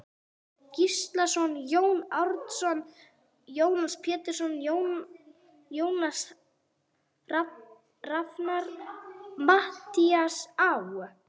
Gíslason, Jón Árnason, Jónas Pétursson, Jónas Rafnar, Matthías Á.